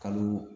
Kalo